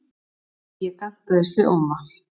Ég gantaðist við Óma.